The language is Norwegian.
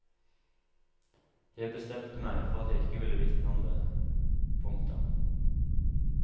Jeg bestemte meg for at jeg ikke ville vitne om det. punktum